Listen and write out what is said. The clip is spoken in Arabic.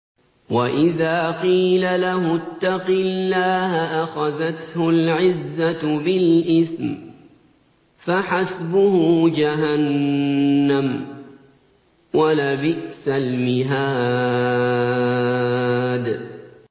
وَإِذَا قِيلَ لَهُ اتَّقِ اللَّهَ أَخَذَتْهُ الْعِزَّةُ بِالْإِثْمِ ۚ فَحَسْبُهُ جَهَنَّمُ ۚ وَلَبِئْسَ الْمِهَادُ